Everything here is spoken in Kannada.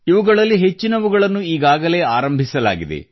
ಇವುಗಳಲ್ಲಿ ಹೆಚ್ಚಿನವುಗಳನ್ನು ಈಗಾಗಲೇ ಆರಂಭಿಸಲಾಗಿದೆ